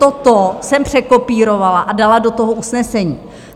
Toto jsem překopírovala a dala do toho usnesení.